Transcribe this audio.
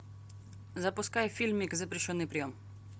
запускай фильмик запрещенный прием